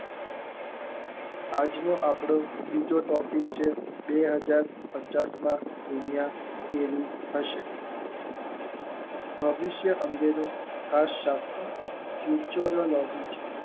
આજનો આપનો બીજો ટોપિક છે બે હાજર પચાસમાં દુનિયા કેવી હશે ભવિષ્ય અંગેની ખાસ જે ઉછેરવા લાગી છે.